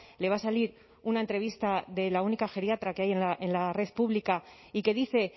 le va a salir una entrevista de la única geriatra que hay en la red pública y que dice